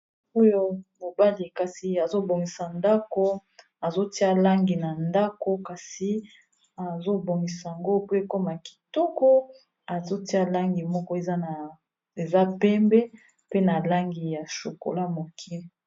Oyo mobali kasi, azo bongisa ndako, azotia langi na ndako. Kasi, azo bongisa ya ngo po ekoma kitoko. azo tia langi moko eza pembe, pe na langi ya shokola moke.